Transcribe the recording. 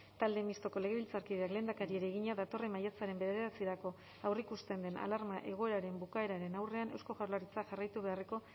talde mistoko legebiltzarkideak lehendakariari egina datorren maiatzaren bederatzirako aurreikusten den alarma egoeraren bukaeraren aurrean eusko jaurlaritzak jarraitu beharreko